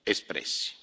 voti espressi.